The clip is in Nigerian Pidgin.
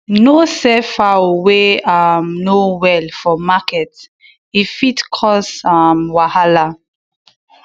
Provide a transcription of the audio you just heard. no sell fowl wey um no well for market e fit cause um wahala